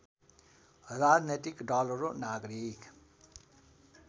राजनैतिक दलहरू नागरिक